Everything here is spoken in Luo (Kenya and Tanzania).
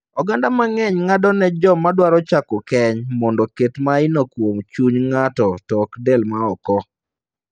Oganda mang'eny ng'ado ne joma dwaro chako keny mondo oket maino kuom chuny ng'ato to ok del ma oko.